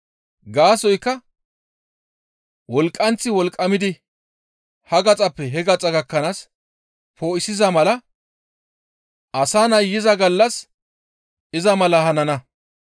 Gaasoykka wolqqanththi wolqqamidi ha gaxappe he gaxa gakkanaas poo7isiza mala Asa Nay yiza gallas iza mala hanana.